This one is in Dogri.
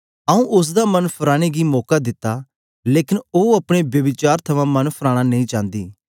आऊँ उस्स दा मन फराने गी मौका दिता लेकन ओ अपने ब्यभिचार थमां मन फराना नेई चांदी